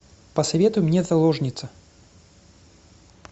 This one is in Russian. посоветуй мне заложница